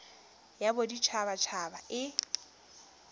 ya bodit habat haba e